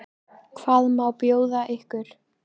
Hvað má bjóða ykkur?